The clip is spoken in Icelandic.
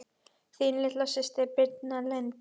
Þín litla systir Birna Lind.